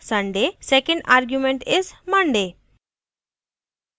2nd argument is: monday